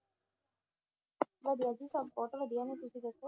ਵਧੀਆ ਜੀ ਸਭ ਬਹੁਤ ਵਧੀਆ ਨੇ ਤੁਸੀਂ ਦੱਸੋ,